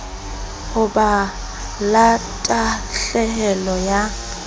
ho ba la tahlehelo ya